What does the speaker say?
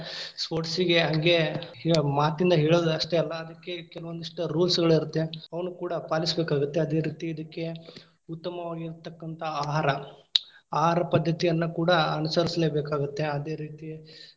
Sports ಇಗೆ, ಅಗೆ ಹೇ ಮಾತಿಂದ್‌ ಹೇಳೋದ್‌ ಅಷ್ಟೇ ಅಲ್ಲಾ ಅದಕ್ಕೆ ಕೆಲವೊಂದಿಷ್ಟ್ rules ಗಳಿರುತ್ತೆ. ಅವ್ನಕೂಡಾ ಪಾಲಿಸ್ಬೇಕಾಗತ್ತೆ. ಅದೇ ರೀತಿ ಅದಕ್ಕೆ ಉತ್ತಮವಾಗಿರತಕ್ಕಂತಹ ಆಹಾರ. ಆಹಾರ ಪದ್ಧತಿ ಅನ್ನ ಕೂಡಾ ಅನುಸರಿಸಲೇಬೇಕಾಗತ್ತೆ, ಅದೇ ರೀತಿ.